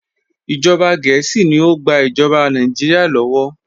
Ìjọba Gẹẹsi ni o gbà ìjọba Nàìjíríà lọ́wọ́.